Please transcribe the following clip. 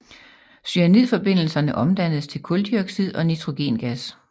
Cyanidforbindelserne omdannes til kuldioxid og nitrogengas